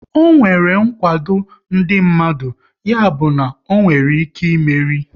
Ọ nwere nkwado ndị mmadụ, ya bụ na onwere ike ịmeri